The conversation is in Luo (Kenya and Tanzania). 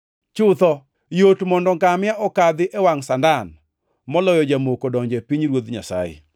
Chutho, yot mondo ngamia okadhi e wangʼ sandan, moloyo jamoko donjo e pinyruoth Nyasaye!”